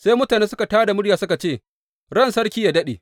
Sai mutane suka tā da murya suka ce, Ran sarki yă daɗe.